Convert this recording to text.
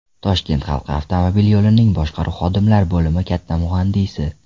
Toshkent halqa avtomobil yo‘lining boshqaruv xodimlar bo‘limi katta muhandisi.